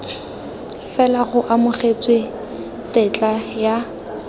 fela go amogetswe tetla ya